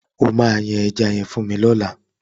O máa yan ẹja yẹn fún mi lọ́làá.